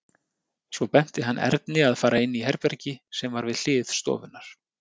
Svo benti hann Erni að fara inn í herbergi sem var við hlið stofunnar.